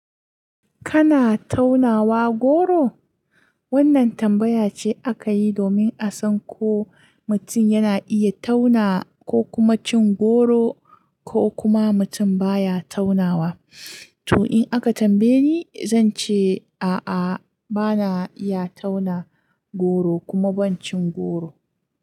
Kana taunawa goro? Wannan tambaya ce aka yi domin a san ko mutun yana iya tauna ko kuma cin goro ko kuma mutum baya taunawa. To in aka tambaye ni, zan ce a'a bana iya tauna goro kuma ban cin goro.